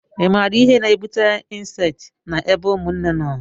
i maara ihe na-ebute incesti na ebe ụmụnne nọ?